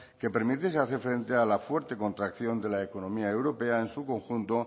que permitiese hacer frente a la fuerte contracción de la economía europea en su conjunto